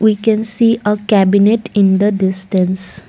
we can see a cabinet in the distance.